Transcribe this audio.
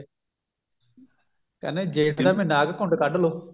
ਕਹਿੰਦੇ ਜੇਠ ਦਾ ਮਹੀਨਾ ਆ ਗਿਆ ਘੁੰਡ ਕੱਡ ਲੋ